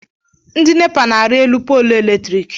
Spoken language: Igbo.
Ndi nepa na-arị elu polu eletriki